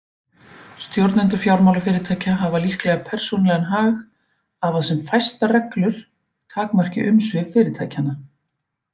Stjórnendur fjármálafyrirtækja hafa líklega persónulegan hag af að sem fæstar reglur takmarki umsvif fyrirtækjanna.